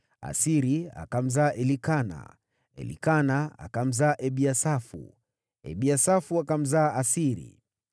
Asiri akamzaa Elikana, Elikana akamzaa Ebiasafu, Ebiasafu akamzaa Asiri,